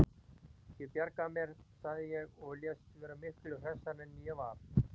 Ég bjarga mér, sagði ég og lést vera miklu hressari en ég var.